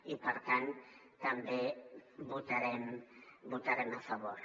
i per tant també hi votarem a favor